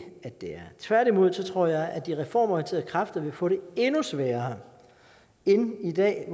det tværtimod tror jeg at de reformorienterede kræfter vil få det endnu sværere end i dag